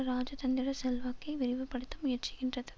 இராஜதந்திர செல்வாக்கை விரிவுபடுத்த முயற்சிக்கின்றது